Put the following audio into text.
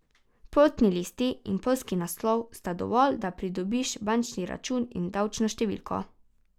Potni list in poljski naslov sta dovolj, da pridobiš bančni račun in davčno številko.